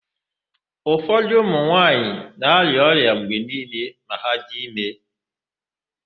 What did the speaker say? Ufọdụ ụmụnwaanyị na-arịa ọrịa mgbe niile ma ha dị ime.